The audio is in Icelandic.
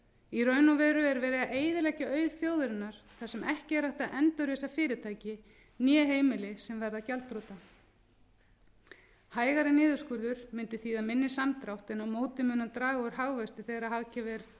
í raun er verið að eyðileggja auð þjóðarinnar þar sem ekki er hægt að endurreisa fyrirtæki né heimili sem verða gjaldþrota hægari niðurskurður mundi þýða minni samdrátt en á móti mun hann draga úr hagvexti þegar hagkerfið er